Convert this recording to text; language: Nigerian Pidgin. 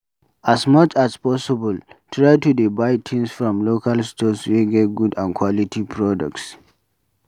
As much as possible, try to dey buy things from local stores wey get good and quality products